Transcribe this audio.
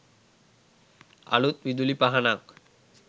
අලුත් විදුලි පහනක්